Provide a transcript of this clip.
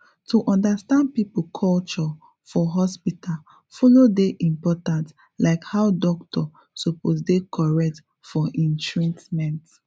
to understand people culture for hospital follow dey important like how doctor suppose dey correct for hin treatment